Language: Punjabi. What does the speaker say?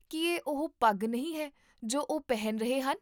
ਕੀ ਇਹ ਉਹ ਪੱਗ ਨਹੀਂ ਹੈ ਜੋ ਉਹ ਪਹਿਨ ਰਹੇ ਹਨ?